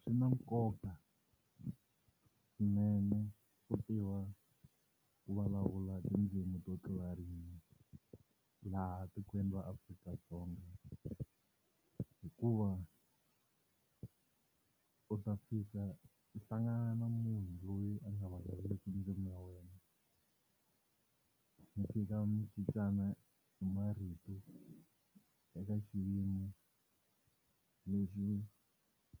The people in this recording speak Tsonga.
Swi na nkoka swinene ku tiva ku vulavula tindzimi to tlula rin'we laha tikweni ra Afrika-Dzonga hikuva u ta fika u hlangana na munhu loyi a nga vulavuleki ndzimi ya wena mi fika munhu cincana hi marito eka xiyimo lexi